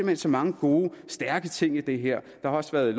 hen så mange gode stærke ting i det her der har også været